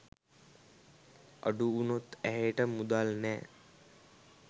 අඩුවුණොත් ඇයට මුදල් නෑ.